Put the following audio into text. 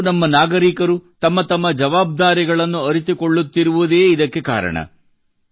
ಇಂದು ನಮ್ಮ ಪ್ರತಿಯೊಬ್ಬ ನಾಗರಿಕನೂ ತಮ್ಮ ತಮ್ಮ ಜವಾಬ್ದಾರಿಗಳನ್ನು ಅರಿತುಕೊಳ್ಳುತ್ತಿರುವುದೇ ಇದಕ್ಕೆ ಕಾರಣ